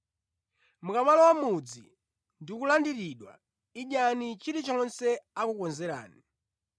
“Mukamalowa mʼmudzi, ndi kulandiridwa, idyani chilichonse akukonzerani.